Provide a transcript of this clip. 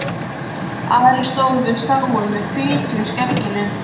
Ari stóð við sáinn með fitu í skegginu.